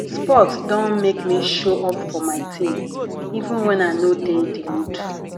sport don make me show up for my team even when i no de di mood